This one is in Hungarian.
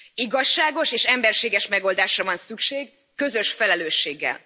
Igazságos és emberséges megoldásra van szükség, közös felelősséggel.